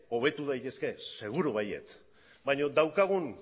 hobetu daitezke seguru baietz baina daukagun